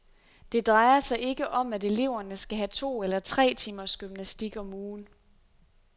Det drejer sig ikke om at eleverne skal have to eller tre timers gymnastik om ugen.